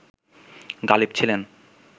গালিব ছিলেন